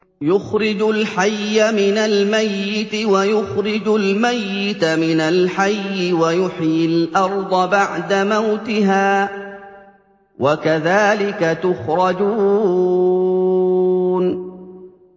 يُخْرِجُ الْحَيَّ مِنَ الْمَيِّتِ وَيُخْرِجُ الْمَيِّتَ مِنَ الْحَيِّ وَيُحْيِي الْأَرْضَ بَعْدَ مَوْتِهَا ۚ وَكَذَٰلِكَ تُخْرَجُونَ